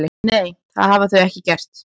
Nei, það hafa þau ekki gert